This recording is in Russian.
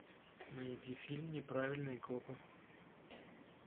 найди фильм неправильные копы